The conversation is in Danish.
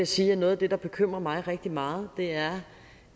sige at noget af det der bekymrer mig rigtig meget er